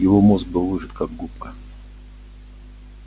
его мозг был выжат как губка